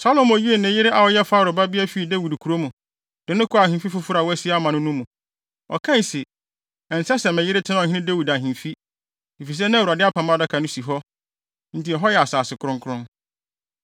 Salomo yii ne yere a ɔyɛ Farao babea fii Dawid kurow mu, de no kɔɔ ahemfi foforo a wasi ama no no mu. Ɔkae se, “Ɛnsɛ sɛ me yere tena Ɔhene Dawid ahemfi, efisɛ na Awurade Apam Adaka no si hɔ, enti ɛhɔ yɛ asase kronkron.”